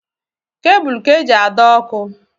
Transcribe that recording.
Kebụl ka-eji adọ ọkụ.